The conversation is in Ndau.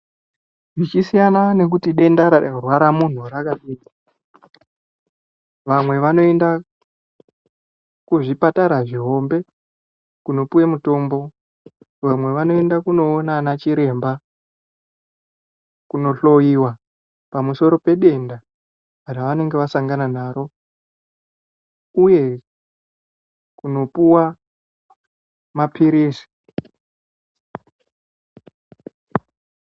Zvichisiyana ngekuti denda rarwara muntu rakadii vamwe vanoenda kuzvipatara zvihombe kunopuwe mitombo vamwe vanoenda kunoona anachiremba kunohloyiwa pamusoro pedenda ravanenge vasangana naro uye kunopuwa mapirizi.